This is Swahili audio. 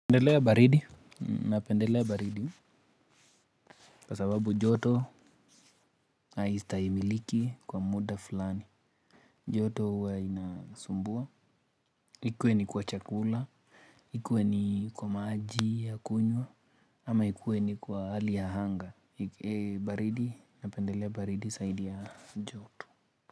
Napendelea baridi kwa sababu joto haistahimiliki kwa muda fulani. Joto huwa inasumbua ikue ni kwa chakula ikue ni kwa maji ya kunywa ama ikue ni kwa hali ya anga. Baridi napendelea baridi zaidi ya joto. Kwa hivyo.